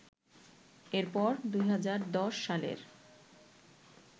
এরপর ২০১০ সালের